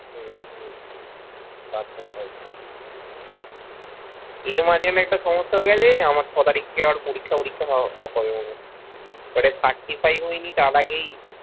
এর মাঝখানে একটা সমস্যা হয়ে গেছে আমার ছ তারিখ থেকে পরীক্ষা মরিক্ষা হবে মনে হচ্ছে ওটা THRITY FIVE হয়নি তার আগেই